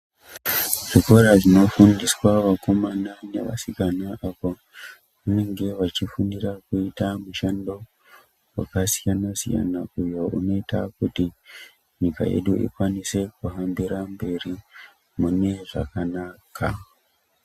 Zvikora zvinofundiswa vakomana nevasikana apo pavanenge vachifundira kuita mishando wakasiyanasiyana uyo unoita kuti nyika yedu ikwanise kuhambire mberi mune zvakanaka.